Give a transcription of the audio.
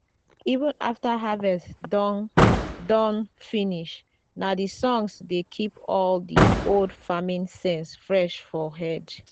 even after harvest don don finish na the songs dey keep all the old farming sense fresh for head.